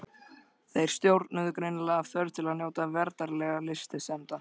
Þeir stjórnuðust greinilega af þörf til að njóta veraldlegra lystisemda.